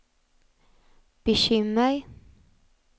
bekymmer